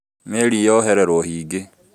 Meri nĩ yohererwo higĩ